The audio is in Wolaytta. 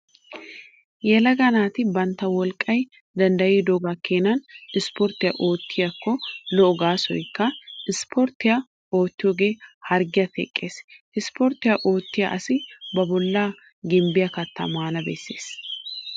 Yelaga naati bantta wolqqay danddayidoogaa keenaa isiporttiyaa oottiyaakko lo'o gaasoykka isiporttiyaa oottiyoogee harggiyaa teqqees. Isiporttiyaa oottiyaa asi ba bollaa gimbbiyaa kattaa maana bessees.